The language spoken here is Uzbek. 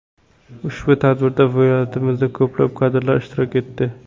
Ushbu tadbirda viloyatimizdan ko‘plab kadrlar ishtirok etdi.